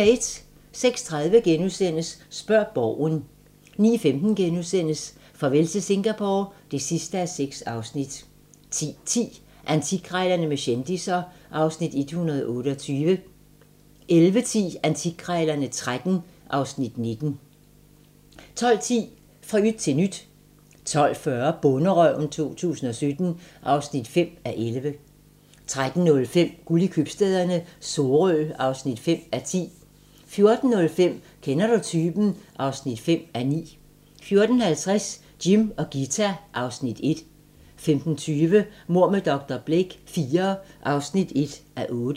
06:30: Spørg Borgen * 09:15: Farvel til Singapore (6:6)* 10:10: Antikkrejlerne med kendisser (Afs. 128) 11:10: Antikkrejlerne XIII (Afs. 19) 12:10: Fra yt til nyt 12:40: Bonderøven 2017 (5:11) 13:05: Guld i købstæderne - Sorø (5:10) 14:05: Kender du typen? (5:9) 14:50: Jim og Ghita (Afs. 1) 15:20: Mord med dr. Blake IV (1:8)